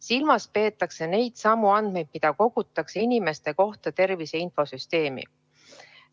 Silmas peetakse neidsamu andmeid, mida kogutakse inimeste kohta tervise infosüsteemi.